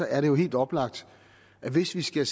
er det jo helt oplagt at hvis vi skal